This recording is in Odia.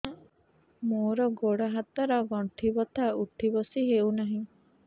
ମୋର ଗୋଡ଼ ହାତ ର ଗଣ୍ଠି ବଥା ଉଠି ବସି ହେଉନାହିଁ